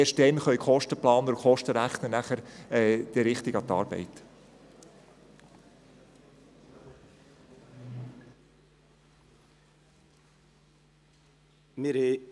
Erst dann können die Kostenplaner und Kostenrechner richtig mit ihrer Arbeit beginnen.